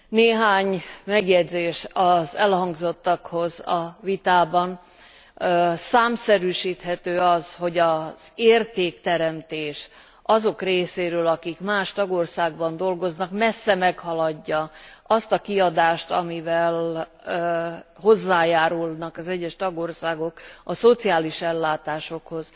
Néhány megjegyzés az elhangzottakhoz a vitában számszerűsíthető az, hogy az értékteremtés azok részéről, akik más tagországban dolgoznak, messze meghaladja azt a kiadást, amivel hozzájárulnak az egyes tagországok a szociális ellátásokhoz